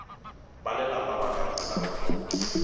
balelapa ba ka kgonang go